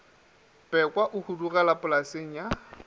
pekwa o hudugela polaseng ya